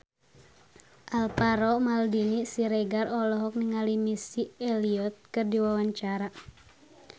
Alvaro Maldini Siregar olohok ningali Missy Elliott keur diwawancara